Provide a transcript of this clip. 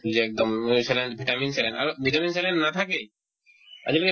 দিলে একদম অ saline vitamin saline আৰু medicine ছাগে নাথাকেই আজিকালি vitamin